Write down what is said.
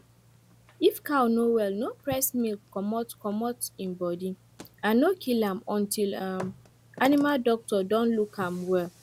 if cow no well no press milk comot comot e body and no kill am until um animal doctor don look am well